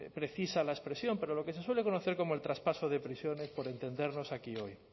precisa la expresión pero lo que se suele conocer como el traspaso de prisiones por entendernos aquí hoy